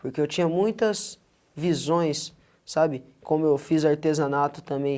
Porque eu tinha muitas visões, sabe? como eu fiz artesanato também,